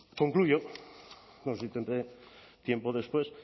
concluyo no sé si tendré tiempo después